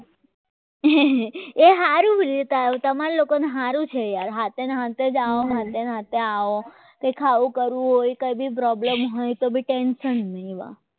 એ સારો એ તમારા લોકોને સારું છે યાર સાથે સાથે આવવાની સાથે સાથે જ આવો કંઈ ખાઓ કરવો હોય કંઈક problem હોય તો ભી ટેન્શન ન હોય